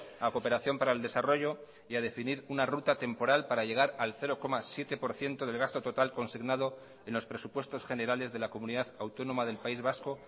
a cooperación para el desarrollo y a definir una ruta temporal para llegar al cero coma siete por ciento del gasto total consignado en los presupuestos generales de la comunidad autónoma del país vasco